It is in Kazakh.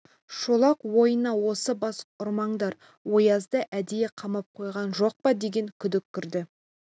шолақ ойына осы бас ұрмаңдар оязды әдейі қамап қойған жоқ па деген күдік кірді